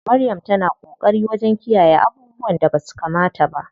Maryam ta na ƙoƙari wajen kiyayye abubuwan da basu kamata ba.